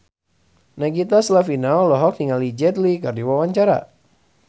Nagita Slavina olohok ningali Jet Li keur diwawancara